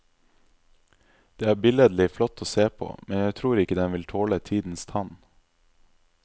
Den er billedlig flott å se på, men jeg tror ikke den vil tåle tidens tann.